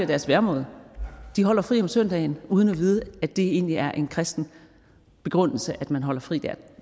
deres væremåde de holder fri om søndagen uden at vide at det egentlig er ud fra en kristen begrundelse at man holder fri der